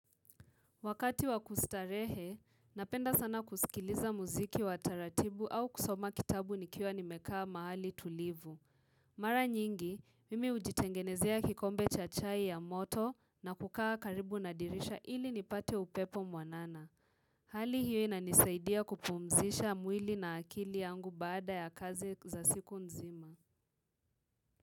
Wakati wakustarehe, napenda sana kusikiliza muziki wataratibu au kusoma kitabu nikiwa nimekaa mahali tulivu. Mara nyingi, mimi hujitengenezea kikombe cha chai ya moto na kukaa karibu na dirisha ili nipate upepo mwanana. Hali hiyo ina nisaidia kupumzisha mwili na akili yangu bada ya kazi za siku nzima.